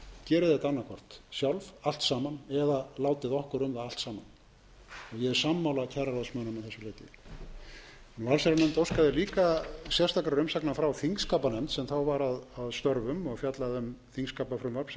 hvort allt sjálf allt saman eða látið okkur um það allt saman ég er sama kjararáðsmönnum að þessu leyti allsherjarnefnd óskaði líka sérstakrar umsagnar frá þingskapanefnd sem þá var að störfum og fjallaði um þingskapafrumvarp sem nú er orðið að lögum